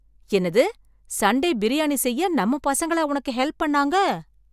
என்னது, சண்டே பிரியாணி செய்ய நம்ம பசங்களா உனக்கு ஹெல்ப் பண்ணாங்க?